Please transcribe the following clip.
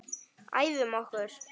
Æfum okkur.